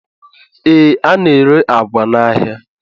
Ee, a na-ere àgwà n'ahịa